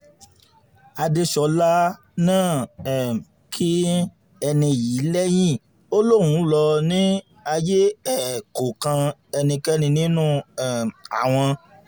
adéṣọlá náà um kín ẹni yìí lẹ́yìn ó lóun lọ ní ayé ẹ̀ kó kan ẹnikẹ́ni nínú um àwọn